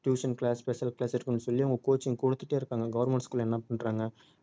tution class special class இருக்குன்னு சொல்லி அவங்க coaching கொடுத்துக்கிட்டே இருக்காங்க government school அ என்ன பண்றாங்க